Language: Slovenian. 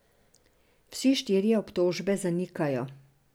Vsi štirje obtožbe zanikajo.